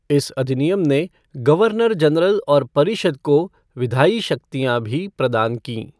इस अधिनियम ने गवर्नर जनरल और परिषद को विधायी शक्तियाँ भी प्रदान कीं।